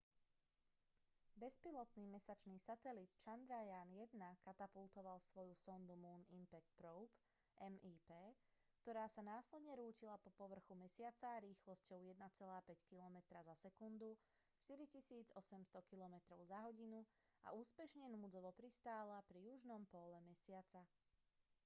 bezpilotný mesačný satelit chandrayaan-1 katapultoval svoju sondu moon impact probe mip ktorá sa následne rútila po povrchu mesiaca rýchlosťou 1,5 kilometra za sekundu 4 800 kilometrov za hodinu a úspešne núdzovo pristála pri južnom póle mesiaca